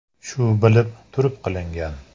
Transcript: Shu bilib turib qilingan.